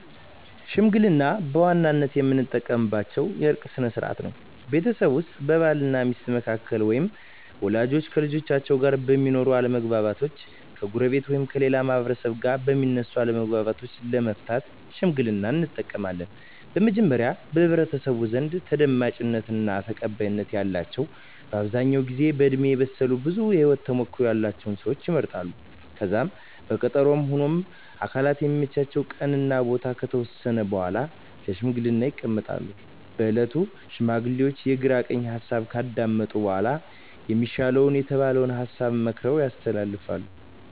ሽምግልና በዋናነት የምንጠቀምበት የእርቅ ስነ ስርዓት ነው። ቤተሰብ ውስጥ በባል እና ሚስት መካከል ወይም ወላጆች ከልጆቻቸው ጋር በሚኖር አለመግባባት፣ ከጎረቤት ወይም ከሌላ ማህበረሰብ ጋር በሚነሱ አለመግባባቶች ለመፍታት ሽምግልናን እንጠቀማለን። በመጀመሪያ በህብረተሰቡ ዘንድ ተደማጭነት እና ተቀባይነት ያላቸው በአብዛኛው ጊዜ በእድሜ የበሰሉ ብዙ የህወት ተሞክሮ ያለቸው ሰወች ይመረጣሉ። ከዛም በቀጠሮ ሁምም አካላት የሚመቻቸውን ቀን እና ቦታ ከተወሰነ በኃላ ለሽምግልና ይቀመጣሉ። በእለቱም ሽማግሌዎቹ የግራ ቀኝ ሀሳብ ካዳመጡ በኃላ የሚሻል የተባለውን ሀሳብ መክረው ያስተላልፋሉ።